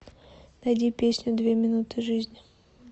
найди песню две минуты жизни